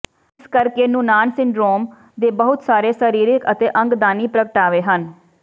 ਇਸੇ ਕਰਕੇ Noonan syndrome ਦੇ ਬਹੁਤ ਸਾਰੇ ਸਰੀਰਕ ਅਤੇ ਅੰਗਦਾਨੀ ਪ੍ਰਗਟਾਵੇ ਹਨ